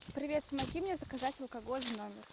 привет помоги мне заказать алкоголь в номер